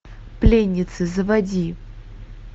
пленницы заводи